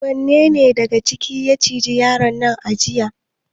Wanne daga cikin karen ne ya ciji yaron a jiya?